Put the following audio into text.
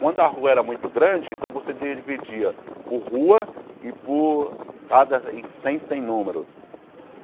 Quando a rua era muito grande, então você dividia por rua e por cada em cem, cem número.